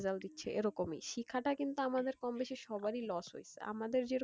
result দিচ্ছে এরকমই, শিক্ষাটা কিন্তু আমাদের কম বেশি সবারই loss হয়েছে। আমাদের যেরকম,